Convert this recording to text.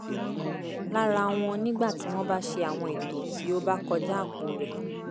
lára wọn nígbà tí wọ́n bá ṣe àwọn ètò tí ó bá kọjá àpò rẹ̀